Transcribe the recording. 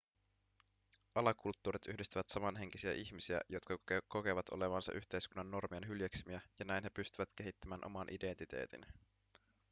alakulttuurit yhdistävät samanhenkisiä ihmisiä jotka kokevat olevansa yhteiskunnan normien hyljeksimiä ja näin he pystyvät kehittämään oman identiteetin